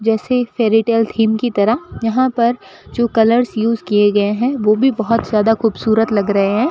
जैसे एक fairytale theme की तरह यहां पर जो कलर्स यूस किए गए हैं वो भी बहुत ज्यादा खूबसूरत लग रहे हैं।